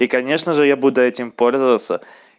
и конечно же я буду этим пользоваться